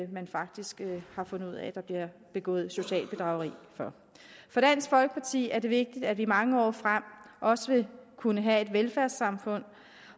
man faktisk har fundet ud af at der bliver begået socialt bedrageri for for dansk folkeparti er det vigtigt at vi i mange år frem også vil kunne have et velfærdssamfund